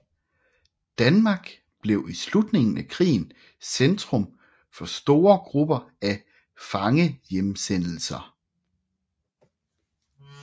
Danmark blev i slutningen af krigen centrum for store grupper af fangehjemsendelser